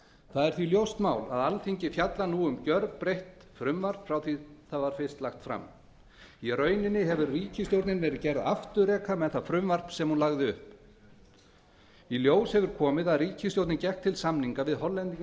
það er því ljóst mál að alþingi fjallar nú um gjörbreytt frumvarp frá því að það var fyrst lagt fram í rauninni hefur ríkisstjórnin verið gerð afturreka með það frumvarp sem hún lagði upp með í ljós hefur komið að ríkisstjórnin gekk til samninga við hollendinga